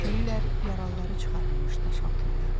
Deyirlər yaralıları çıxarılmış daş altında.